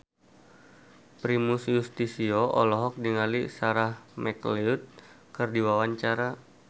Primus Yustisio olohok ningali Sarah McLeod keur diwawancara